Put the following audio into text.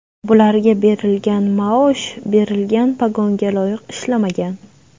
Bularga berilgan maosh, berilgan pogonga loyiq ishlamagan.